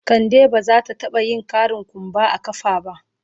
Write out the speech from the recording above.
Ka de ba za ta taba yin ƙarin kumba a kafa ba.